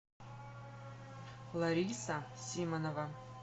лариса симонова